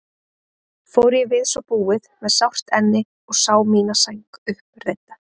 Fór ég við svo búið með sárt enni og sá mína sæng uppreidda.